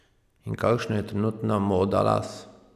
In kakšna je trenutna moda las?